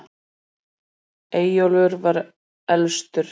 eyjólfur var elstur